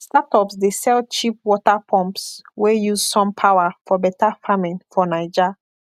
startups dey sell cheap water pumps wey use sun power for better farming for naija